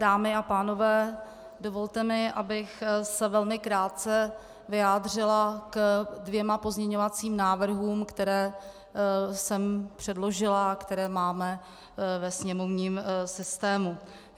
Dámy a pánové, dovolte mi, abych se velmi krátce vyjádřila k dvěma pozměňovacím návrhům, které jsem předložila a které máme ve sněmovním systému.